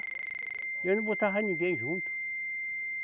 E eu não botava ninguém junto.